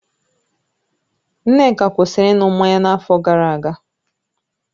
Nneka kwụsịrị ịṅụ mmanya n'afọ gara aga